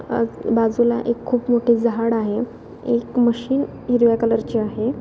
बाजूला खूप मोठी झाड आहे एक मशीन हिरव्या कलर ची आहे.